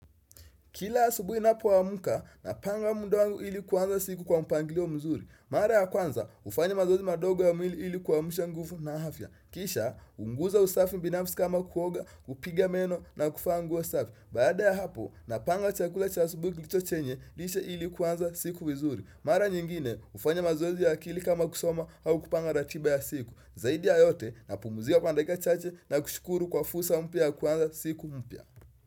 Kila asubuhi ninapo amka, napanga muda wangu ili kuanza siku kwa mpangilio mzuri. Mara ya kwanza, hufanya mazoezi madogo ya mwili ili kuamsha nguvu na afya. Kisha, uguza usafi binafsi kama kuoga, kupiga meno na kuvaa nguo safi. Baada ya hapo, napanga chakula cha asubuhi kilicho chenye, lishe ili kuanza siku vizuri. Marq nyingine, hufanya mazoezi ya akili kama kusoma au kupanga ratiba ya siku. Zaidi ya yote, napumzika kwa dakika chache na kushukuru kwa fursa mpya ya kuqnza siku mpya.